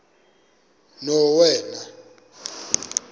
novena